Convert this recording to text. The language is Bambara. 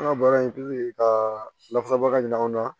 An ka baara in ka lafasabaga ɲini an na